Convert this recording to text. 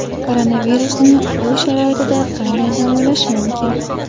Koronavirusni uy sharoitida qanday davolash mumkin?